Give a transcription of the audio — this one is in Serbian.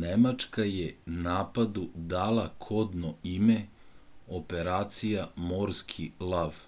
nemačka je napadu dala kodno ime operacija morski lav